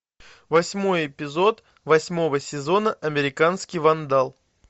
восьмой эпизод восьмого сезона американский вандал